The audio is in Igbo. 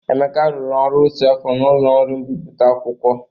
Emeka rụrụ ọrụ otu afọ n'ụlọ ọrụ mbipụta akwụkwọ.